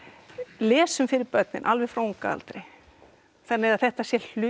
lesum fyrir börnin alveg frá unga aldri þannig að þetta sé hluti